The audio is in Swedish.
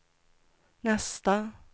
nästa